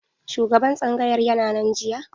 Shugaban tsangayar yana nan jiya?